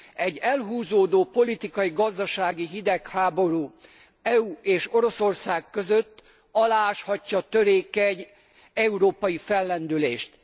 Egy elhúzódó politikai gazdasági hidegháború az EU és Oroszország között alááshatja a törékeny európai fellendülést.